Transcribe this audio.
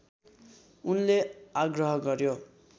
उनले आग्रह गर्‍यो